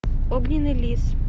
огненный лис